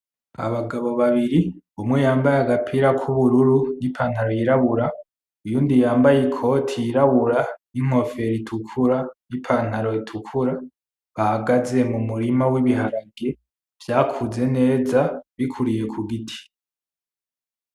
Abagabo babiri umwe yambaye agapira kubururu n'ipantalo yirabura uyundi yambaye ikoti yirabura n'inkofero itukura n'ipantalo itukura bahagaze mumurima wibiharage vyakuze neza bikuriye ku giti.